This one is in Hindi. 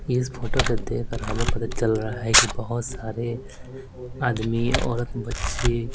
इस फोटो को देखकर हमें पता चल रहा है कि बहुत सारे आदमी औरत बच्चे--